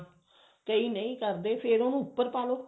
ਕਈ ਨਹੀਂ ਕਰਦੇ ਫ਼ੇਰ ਉਹਨੂੰ ਉੱਪਰ ਪਾਲੋ